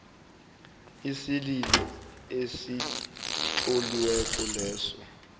isililo esitloliweko leso